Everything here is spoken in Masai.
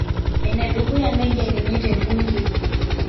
Enedukuya negeluni tebunge